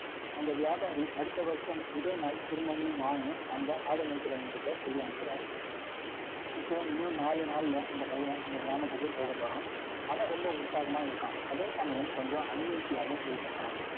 அந்த வியாபாரி, அடுத்த வருஷம், இதே நாள், திரும்பவும் வான்னு, அந்த ஆடு மேய்க்கிறவங்ககிட்ட, சொல்லி அனுப்புறாரு. இப்போ, இன்னும் நாலு நாள்ல, அந்த பையன், இந்த கிராமத்துக்கு போகப் போறான் ரொம்ப உற்சாகமா இருக்கான். அதே சமயம், கொஞ்சம் uneasy ஆவும் feel பண்றான்